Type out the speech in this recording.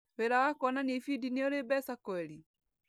Wĩra wa kuonania ibindi nĩ ũrĩ mbeca kweri?